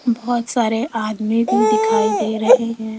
बहोत सारे आदमी भी दिखाई दे रहे है।